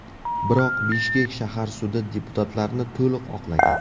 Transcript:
Biroq Bishkek shahar sudi deputatlarni to‘liq oqlagan.